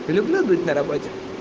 люблю быть на работе